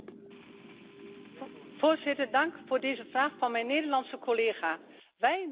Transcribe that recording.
Wij mensen uit Nederland kunnen samen met Duitsland heel snel zorgen voor één tijd.